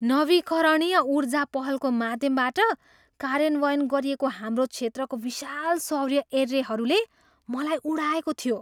नवीकरणीय ऊर्जा पहलको माध्यमबाट कार्यान्वयन गरिएको हाम्रो क्षेत्रको विशाल सौर्य एर्रेहरूले मलाई उडाएको थियो।